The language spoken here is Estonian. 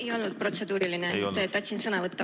Ei olnud protseduuriline, tahtsin sõna võtta.